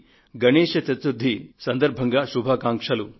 గణేశ్ చతుర్ధి సందర్భంగా మీ అందరికీ శుభాకాంక్షలు